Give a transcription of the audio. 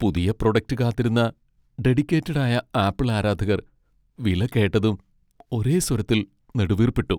പുതിയ പ്രൊഡക്റ്റ് കാത്തിരുന്ന ഡെഡിക്കേറ്റഡ് ആയ ആപ്പിൾ ആരാധകർ വില കേട്ടതും ഒരേ സ്വരത്തിൽ നെടുവീർപ്പിട്ടു.